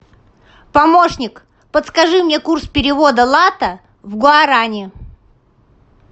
помощник подскажи мне курс перевода лата в гуарани